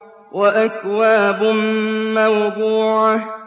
وَأَكْوَابٌ مَّوْضُوعَةٌ